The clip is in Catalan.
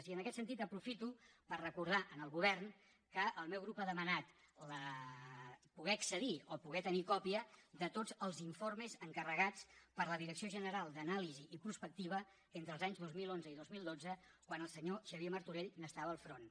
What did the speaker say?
i en aquest sentit aprofito per recordar al govern que el meu grup ha demanat poder accedir o poder tenir còpia de tots els informes encarregats per la direcció general d’anàlisi i prospectiva entre els anys dos mil onze i dos mil dotze quan el senyor xavier martorell n’estava al front